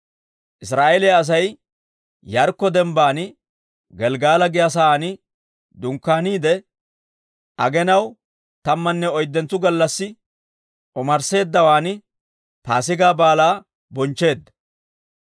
Israa'eeliyaa Asay Yaarikko dembban Gelggala giyaa saan dunkkaaniide, aginaw tammanne oyddentso gallassi omarsseeddawan Paasigaa Baalaa bonchcheedda.